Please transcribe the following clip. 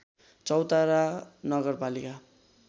चौतारा नगरपालिका